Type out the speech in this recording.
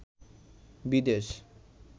বিদেশ